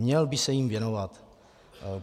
Měl by se jim věnovat.